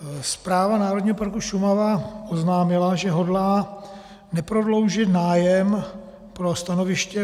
Správa Národního parku Šumava oznámila, že hodlá neprodloužit nájem pro stanoviště